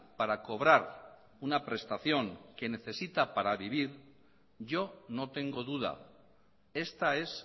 para cobrar una prestación que necesita para vivir yo no tengo duda esta es